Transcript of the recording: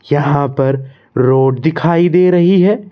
यहां पर रोड दिखाई दे रही है।